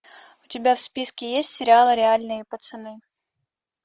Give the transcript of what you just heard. у тебя в списке есть сериал реальные пацаны